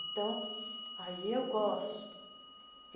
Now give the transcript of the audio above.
Então, aí eu gosto.